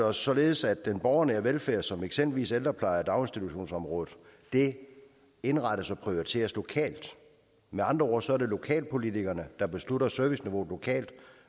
os således at den borgernære velfærd som eksempelvis ældreplejen og daginstitutionsområdet indrettes og prioriteres lokalt med andre ord er det lokalpolitikerne der beslutter serviceniveauet lokalt